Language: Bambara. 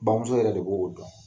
Bamuso yɛrɛ de b'o o dɔn.